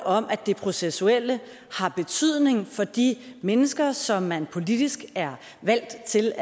om at det processuelle har betydning for de mennesker som man politisk er valgt til